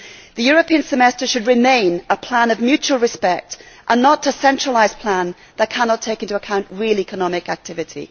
The European Semester should remain a plan of mutual respect and not a centralised plan that cannot take into account real economic activity.